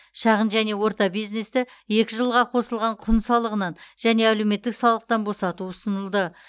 шағын және орта бизнесті екі жылға қосылған құн салығынан және әлеуметтік салықтан босату ұсынылды